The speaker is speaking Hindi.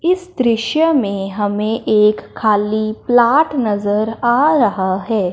इस दृश्य में हमें एक खाली प्लाट नजर आ रहा है।